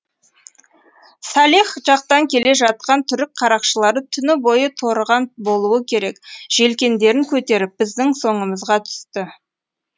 салех жақтан келе жатқан түрік қарақшылары түні бойы торыған болуы керек желкендерін көтеріп біздің соңымызға түсті